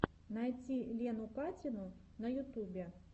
найти лену катину на ютубе